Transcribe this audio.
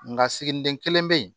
Nka siginiden kelen be yen